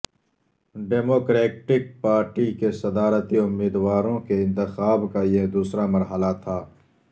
democratic party کے صدارتی امیدواروں کے انتخاب کا یہ دوسرا مرحلہ تھا